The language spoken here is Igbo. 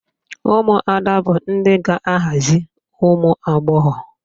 Ụmụada bụ ndị ga-aghazi ụmụagbọghọ